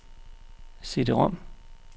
CD-rom